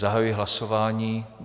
Zahajuji hlasování.